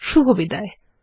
শুভবিদায়